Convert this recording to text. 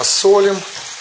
посолим